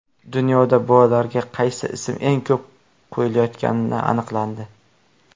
Dunyoda bolalarga qaysi ism eng ko‘p qo‘yilayotgani aniqlandi.